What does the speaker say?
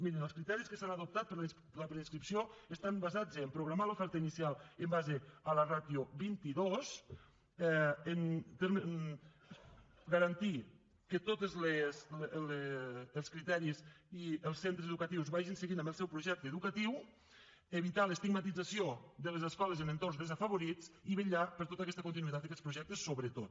mirin els criteris que s’han adoptat per a la preinscripció estan basats a programar l’oferta inicial en base a la ràtio vint dos garantir que tots els criteris i els centres educatius vagin seguint amb el seu projecte educatiu evitar l’estigmatització de les escoles en entorns desafavorits i vetllar per tota aquesta continuïtat d’aquests projectes sobretot